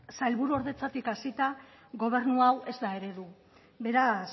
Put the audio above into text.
sailburuordetzatik hasita gobernu hau ez da eredu beraz